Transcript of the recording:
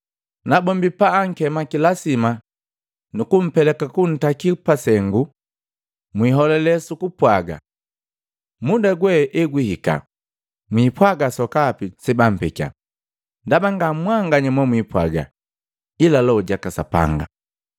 Nabombi pabaakema kilasima na kapeleka kuntaki pasengu, mwiholale su kupwaga. Muda gwe egwihika mpwaaga sokapi sebampekya, ndaba nga mwanganya momwipwaga, ila Loho jaka Sapanga.